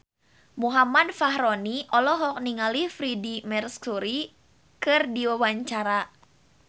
Muhammad Fachroni olohok ningali Freedie Mercury keur diwawancara